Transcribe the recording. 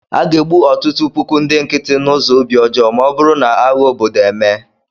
A ga-egbu ọtụtụ puku ndị nkịtị n'ụzọ obi ọjọọ ma ọ bụrụ na agha obodo emee